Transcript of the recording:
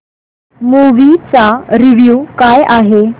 movie चा review काय आहे